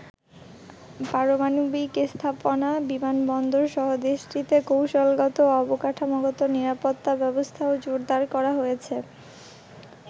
পারমাণবিক স্থাপনা, বিমানবন্দর সহ দেশটিতে কৌশলগত ও অবকাঠামোগত নিরাপত্তা ব্যবস্থাও জোরদার করা হয়েছে।